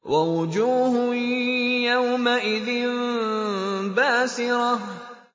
وَوُجُوهٌ يَوْمَئِذٍ بَاسِرَةٌ